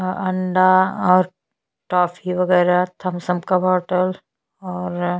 अंडा और टॉफ़ी वगेरा थम्स अप का बोटल और --